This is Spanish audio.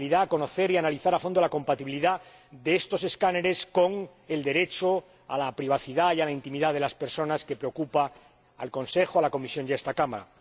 es conocer y analizar a fondo la compatibilidad de estos escáneres con el derecho a la privacidad y a la intimidad de las personas, que preocupa al Consejo, a la Comisión y a esta Cámara.